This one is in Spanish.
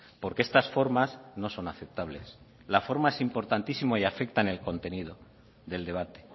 porque estas formas no son aceptables la forma es importantísima y afecta en el contenido del debate